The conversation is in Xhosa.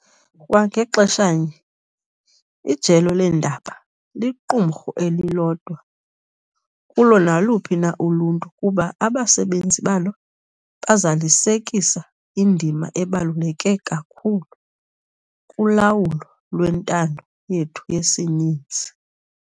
Kwa ngexeshanye, ijelo leendaba liqumrhu elilodwa kulo naluphi na uluntu kuba abasebenzi balo bazalisekisa indima ebaluleke kakhulu kulawulo lwentando yethu yesininzi.